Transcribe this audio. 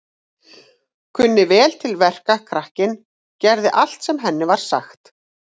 Kunni vel til verka, krakkinn, gerði allt sem henni var sagt.